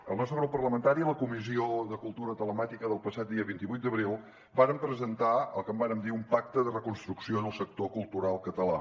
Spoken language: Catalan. el nostre grup parlamentari a la comissió de cultura telemàtica del passat dia vint vuit d’abril vàrem presentar el que en vàrem dir un pacte de reconstrucció del sector cultural català